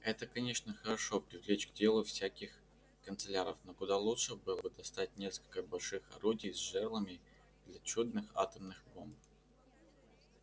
это конечно хорошо привлечь к делу всяких канцлеров но куда лучше было бы достать несколько больших орудий с жерлами для чудных атомных бомб